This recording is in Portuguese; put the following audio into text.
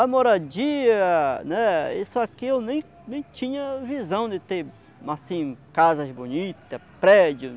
A moradia, né, isso aqui eu nem nem tinha visão de ter, assim, casas bonitas, prédios.